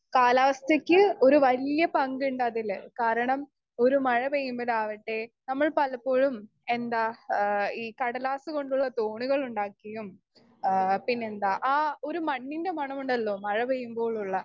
speaker 2 കാലാവസ്ഥയ്ക്ക് ഒരു വല്യ പങ്കിണ്ട് അതിൽ കാരണം ഒരു മഴ പെയുന്നതാവട്ടെ നമ്മൾ പലപ്പോഴും എന്താ ഏഹ് ഈ കടലാസ് കൊണ്ടുള്ള തോണികളുണ്ടാക്കിയും ഏഹ് പിന്നെന്താ ആ ഒരു മണ്ണിന്റെ മണമുണ്ടലോ മഴ പെയുംപോലുള്ള